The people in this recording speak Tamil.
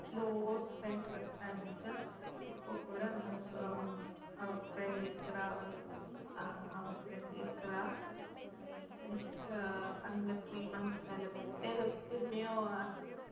இப்ப கூட அங்க அவ friend இருக்குறா அஹ் அவ friend இருக்குறா next அங்க three months